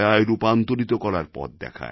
রূপান্তরিত করার পথ দেখায়